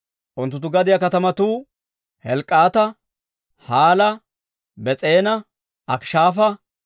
Unttunttu gadiyaa katamatuu Helk'k'aata, Hala, Bes'eena, Akishaafa,